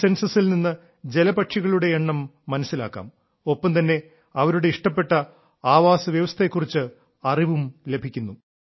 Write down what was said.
ഈ സെൻസസിൽ നിന്ന് ജലപക്ഷികളുടെ എണ്ണം മനസ്സിലാക്കാം ഒപ്പം തന്നെ അവരുടെ ഇഷ്ടപ്പെട്ട ആവാസവ്യവസ്ഥയെ കുറിച്ച് അറിവും ലഭിക്കുന്നു